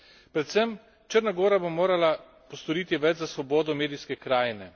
Predvsem, Črna gora bo morala postoriti več za svobodo medijske krajine.